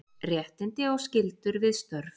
Réttindi og skyldur við störf.